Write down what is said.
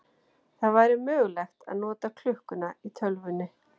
Það væri mögulegt að nota klukkuna í tölvunni.